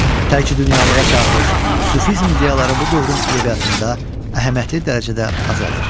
Tərki dünyalığa çağırış, sufizm ideyaları bu dövrün ədəbiyyatında əhəmiyyətli dərəcədə azalır.